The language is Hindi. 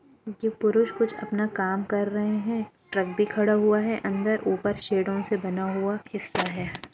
ये पुरुष कुछ अपना काम कर रहे है ट्रक भी खड़ा हुआ है अंदर ऊपर शेडो से बना हुआ हिस्सा है।